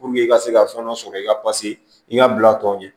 i ka se ka fɛn dɔ sɔrɔ i ka i ka bila tɔw ɲɛ